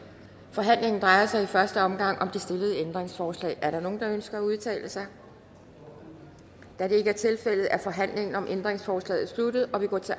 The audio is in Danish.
forhandlingen drejer sig i første omgang om det stillede ændringsforslag er der nogen der ønsker at udtale sig da det ikke er tilfældet er forhandlingen om ændringsforslaget sluttet og vi går til